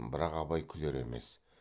бірақ абай күлер емес